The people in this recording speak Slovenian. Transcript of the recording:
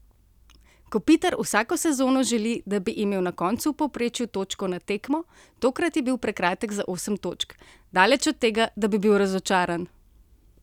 Kopitar vsako sezono želi, da bi imel na koncu v povprečju točko na tekmo, tokrat je bil prekratek za osem točk: 'Daleč od tega, da bi bil razočaran!